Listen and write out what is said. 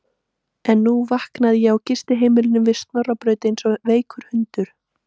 En nú vaknaði ég á gistiheimilinu við Snorrabraut eins og veikur hundur.